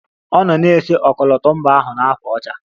Ọ nọ na-ese ọkọlọtọ mba ahụ na ákwà ọcha